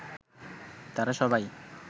তারা সবাই